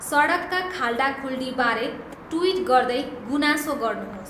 सडकका खाल्डाखुल्डीबारे ट्विट गर्दै गुनासो गर्नुहोस्